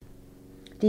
DR1